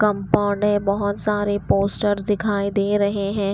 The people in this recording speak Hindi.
कंपाउंड है बहुत सारे पोस्टर्स दिखाई दे रहे हैं।